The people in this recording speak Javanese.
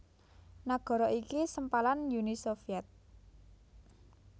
Nagara iki sempalan Uni Sovyet